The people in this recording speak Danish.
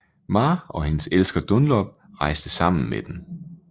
Ma og hendes elsker Dunlop rejste sammen med dem